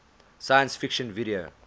science fiction video